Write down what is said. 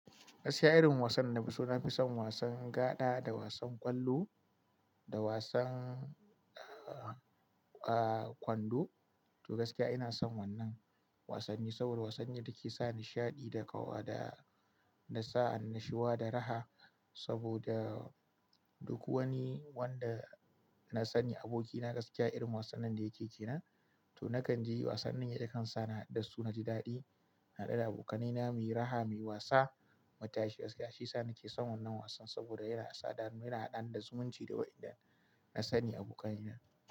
Gaskiya irin wasan da na fi so na fi son wasan gada da wasan ƙwallo da wasan, ah, ah, kwando. To gaskiya ina son wannan wasanni saboda wasanni da ke sa nishaɗi da ƙawa da, da sa annashuwa da raha saboda duk wani wanda na sani abokina gaskiya irin wasan nan da yake ke na. To na kan je wasannin yake kansa da su na ji daɗi, na haɗu da abokanai na muyi raha, muyi wasa, mataashi gaskiya shi sa ni ke son wannan wasan saboda yana shaɗa, mu yana haɗa da zumunci da waɗanda na sani abokanai na.